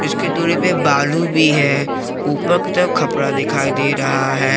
कुछ के दूरी पे बालू भी है ऊपर की तरफ खपरा दिखाई दे रहा है।